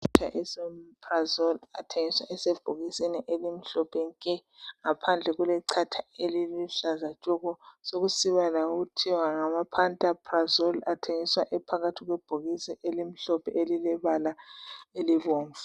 Ama esomeprazole athengiswa Esebhokisini elimhlophe nke ngaphandle kulechatha eliluhlaza tshoko sokusoba lakuthiwa ngama pantaprazole athengiswa ephakathi kwebhokisi elimhlophe elilebala elibomvu